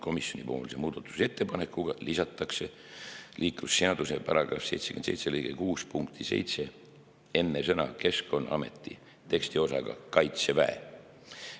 Komisjoni muudatusettepanekuga täiendatakse liiklusseaduse § 77 lõike 6 punkti 7 enne sõna "Keskkonnaameti" tekstiosaga "Kaitseväe".